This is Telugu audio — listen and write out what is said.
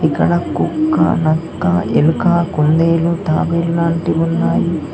ఇక్కడ కుక్క నక్క ఎలుక కుందేలు తాబేలాంటివి ఉన్నాయి.